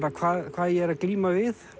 hvað ég er að glíma við